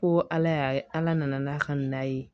Ko ala y'a ala nana n'a ka na ye